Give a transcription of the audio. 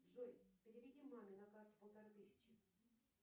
джой переведи маме на карту полторы тысячи